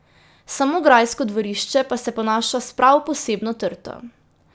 Samo grajsko dvorišče pa se ponaša s prav posebno trto.